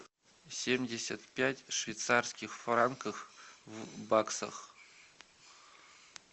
семьдесят пять швейцарских франков в баксах